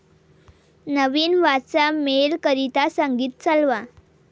नवीन वाचा मेल करीता संगीत चालवा